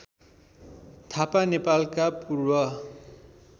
थापा नेपालका पूर्व